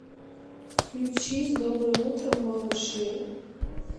включи с добрым утром малыши